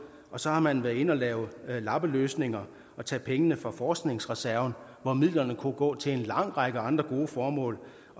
og så har man været inde og lave lappeløsninger og taget pengene fra forskningsreserven hvor midlerne kunne gå til en lang række andre gode formål